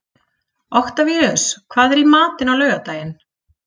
Oktavíus, hvað er í matinn á laugardaginn?